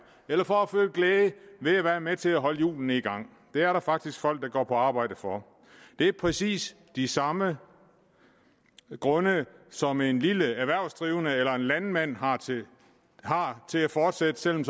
eller for at føle glæde ved at være med til at holde hjulene i gang det er der faktisk folk der går på arbejde for det er præcis de samme grunde som en lille erhvervsdrivende eller en landmand har har til at fortsætte selv om